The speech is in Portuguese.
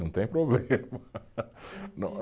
Não tem problema.